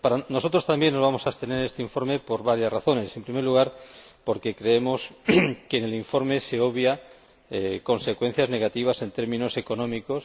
Nosotros también nos vamos a abstener en este informe por varias razones. En primer lugar, porque creemos que en el informe se obvian consecuencias negativas en términos económicos.